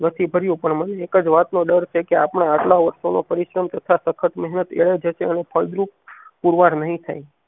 નથી ભર્યું પણ મને એક જ વાત નો ડર છે કે આપણા આટલા વર્ષોનો પરિશ્રમ તથા સખત મેહનત એળે જશે અને ફળદ્રુપ પુરવાર નહિ થાય